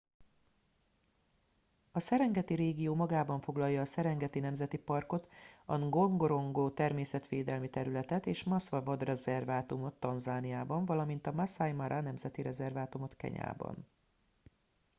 a serengeti régió magában foglalja a serengeti nemzeti parkot a ngorongoro természetvédelmi területet és a maswa vadrezervátumot tanzániában valamint a maasai mara nemzeti rezervátumot kenyában